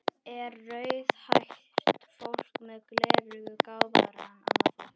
Er rauðhært fólk með gleraugu gáfaðra en annað fólk?